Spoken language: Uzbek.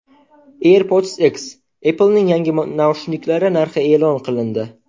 AirPods X: Apple’ning yangi naushniklari narxi e’lon qilindi.